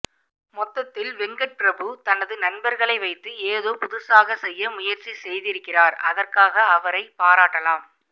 மொத்தத்தில் வெங்கட்பிரபு தன் நண்பர்களை வைத்து ஏதோ புதுசாக செய்ய முயற்சி செய்திருக்கிறார் அதற்காக அவரை பாராட்டலாம்